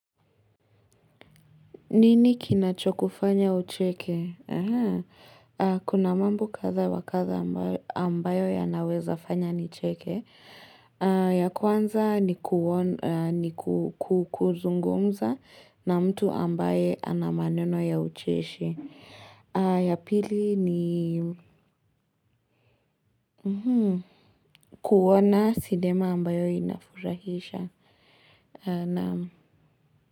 Nini kinacho kufanya ucheke? Kuna mambo kadha wa kadha ambayo ambayo yanawezafanya nicheke. Ya kwanza kuon ni ku ku kuzungumza na mtu ambaye ana maneno ya ucheshi. Ya pili ni kuona sidema ambayo inafurahisha. Naam.